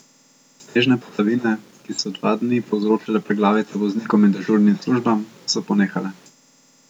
Snežne padavine, ki so dva dni povzročale preglavice voznikom in dežurnim službam, so ponehale.